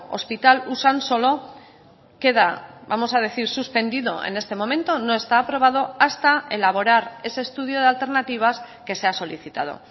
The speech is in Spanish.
hospital usansolo queda vamos a decir suspendido en este momento no está aprobado hasta elaborar ese estudio de alternativas que se ha solicitado